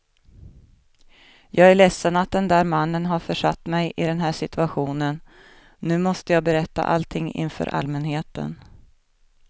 Jag är ledsen att den där mannen har försatt mig i den här situationen, nu måste jag berätta allting inför allmänheten.